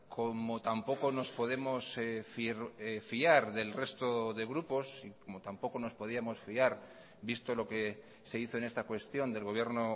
como tampoco nos podemos fiar del resto de grupos como tampoco nos podíamos fiar visto lo que se hizo en esta cuestión del gobierno